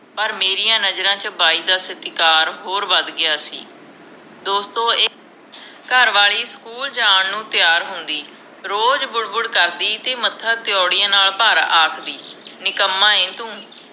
ਪਰ ਮੇਰੀਆਂ ਨਜਰਾਂ ਚ ਬਾਈ ਦਾ ਸਤਿਕਾਰ ਹੋਰ ਵੱਧ ਗਿਆ ਸੀ ਘਰਵਾਲੀ ਸਕੂਲ ਜਾਣ ਨੂੰ ਤਿਆਰ ਹੁੰਦੀ ਰੋਜ ਬੁੜ ਬੁੜ ਕਰਦੀ ਤੇ ਮੱਥਾ ਤੀਊੜੀਆਂ ਨਾਲ ਭਰ ਆਖਦੀ ਨਿਕੰਮਾ ਏ ਤੂੰ